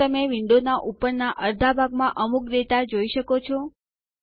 શું તમે વિન્ડોનાં ઉપરના અર્ધા ભાગમાં અમુક ડેટા જોઈ શકો છો